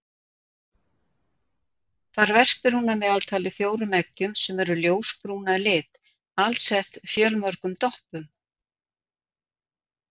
Þar verpir hún að meðaltali fjórum eggjum sem eru ljósbrún að lit alsett fjölmörgum doppum.